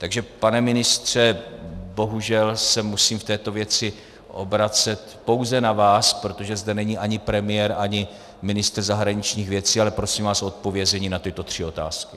Takže pane ministře, bohužel se musím v této věci obracet pouze na vás, protože zde není ani premiér, ani ministr zahraničních věcí, ale prosím vás o odpovězení na tyto tři otázky.